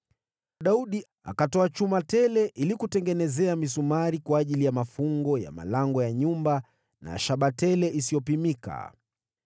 Daudi akatoa chuma tele ili kutengenezea misumari kwa ajili ya mafungo ya malango ya nyumba na shaba tele isiyopimika.